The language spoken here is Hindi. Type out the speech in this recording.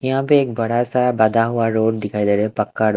यहां पे एक बड़ा सा बधा हुआ रोड दिखाई दे रहा है पक्का --